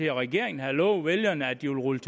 regeringen havde lovet vælgerne at de ville rulle